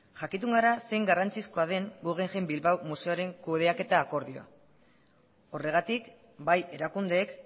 jakitun gara zein garrantzizkoa den guggenheim bilbao museoaren kudeaketa akordioa horregatik bai erakundeek